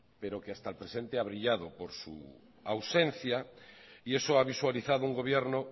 pero que hasta el presente ha brillado por su ausencia y eso ha visualizado un gobierno